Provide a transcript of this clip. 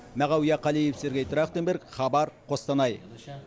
мағауия қалиев сергей трахтенберг хабар қостанай